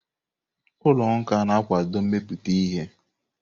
Ụlọ nka na-akwado imepụta ihe.